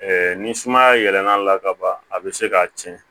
ni sumaya yɛlɛl'a la ka ban a bɛ se k'a tiɲɛ